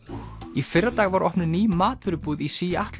í fyrradag var opnuð ný matvörubúð í